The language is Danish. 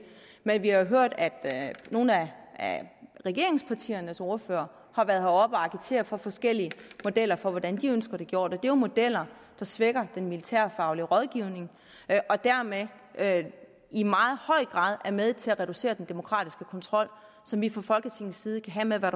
men vi har hørt at nogle af regeringspartiernes ordførere har været oppe at agitere for forskellige modeller for hvordan de ønsker det gjort og det jo modeller der svækker den militærfaglige rådgivning og dermed i meget høj grad er med til at reducere den demokratiske kontrol som vi fra folketingets side kan have med hvad